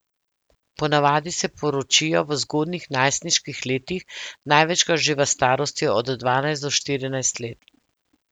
Ponavadi se poročijo v zgodnjih najstniških letih, največkrat že v starosti od dvanajst do štirinajst let.